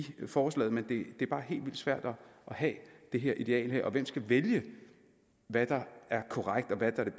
forslaget men det er bare helt vildt svært at have det her ideal hvem skal vælge hvad der er korrekt og hvad der er